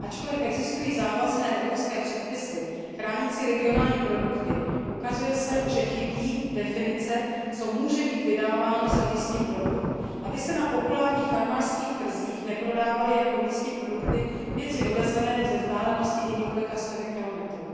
Ačkoliv existují závazné evropské předpisy chránící regionální produkty, ukazuje se, že chybí definice, co může být vydáváno za místní produkt, aby se na populárních farmářských trzích neprodávaly jako místní produkty věci dovezené ze vzdálenosti i několika stovek kilometrů.